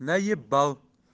наебал